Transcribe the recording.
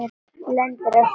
Lendir á spóa.